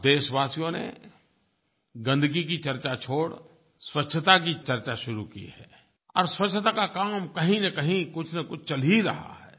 अब देशवासियों ने गंदगी की चर्चा छोड़ स्वच्छता की चर्चा शुरू की है और स्वच्छता का काम कहींनकहीं कुछनकुछ चल ही रहा है